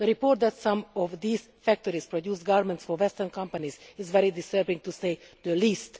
The report that some of these factories produce garments for Western companies is very disturbing to say the least.